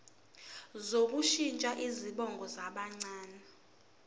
sokushintsha izibongo zabancane